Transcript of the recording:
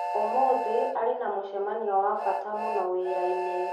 Ũmũthĩ arĩ na mũcemanio wa bata mũno wĩra-inĩ.